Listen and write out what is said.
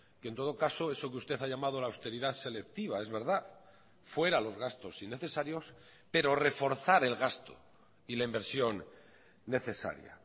que en todo caso eso que usted ha llamado la austeridad selectiva es verdad fuera los gastos innecesarios pero reforzar el gasto y la inversión necesaria